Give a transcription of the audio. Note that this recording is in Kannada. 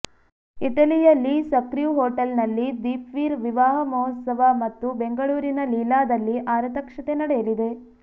ಇಟಲಿಯ ಲೀ ಸಕ್ರ್ಯೂ ಹೋಟೆಲ್ನಲ್ಲಿ ದೀಪ್ವೀರ್ ವಿವಾಹ ಮಹೋತ್ಸವ ಮತ್ತು ಬೆಂಗಳೂರಿನ ಲೀಲಾದಲ್ಲಿ ಆರತಕ್ಷತೆ ನಡೆಯಲಿದೆ